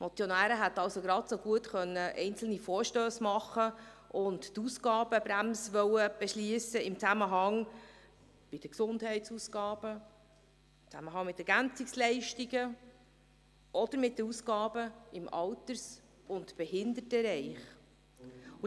Die Motionäre hätten genauso gut einzelne Vorstösse einreichen und die Ausgabenbremse im Zusammenhang mit den Gesundheitsausgaben, den Ergänzungsleistungen oder mit den Ausgaben im Alters- und Behindertenbereich beschliessen können.